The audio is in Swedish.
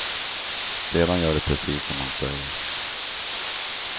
Sedan gör de precis som han säger.